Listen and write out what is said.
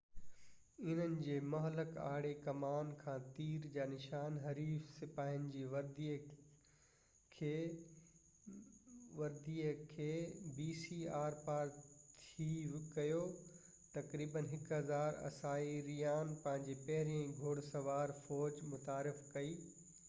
انهن جي مهلڪ آڙي ڪمان کان تير جا نشان حريف سپاهين جي وردي کي آرپار ٿي ڪيو. تقريبن 1000 b.c ۾، اسائيريان پنهنجي پهريئن گُهڙ سوار فوج متعارف ڪئي